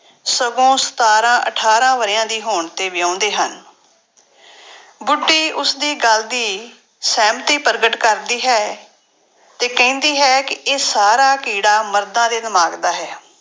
ਸਗੋਂ ਸਤਾਰਾਂ ਅਠਾਰਾਂ ਵਰ੍ਹਿਆਂ ਦੀ ਹੋਣ ਤੇ ਵਿਆਹੁੰਦੇ ਹਨ ਬੁੱਢੀ ਉਸਦੀ ਗੱਲ ਦੀ ਸਹਿਮਤੀ ਪ੍ਰਗਟ ਕਰਦੀ ਹੈ, ਤੇ ਕਹਿੰਦੀ ਹੈ ਕਿ ਇਹ ਸਾਰਾਂ ਕੀੜਾ ਮਰਦਾਂ ਦੇ ਦਿਮਾਗ ਦਾ ਹੈ।